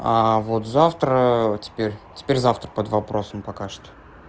а вот завтра теперь теперь завтра под вопросом пока что